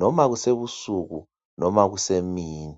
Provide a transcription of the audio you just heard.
noma ebusuku noma kusemini.